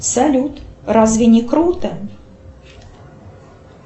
салют разве не круто